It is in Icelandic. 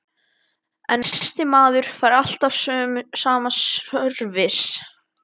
En næsti maður fær sama sörvis.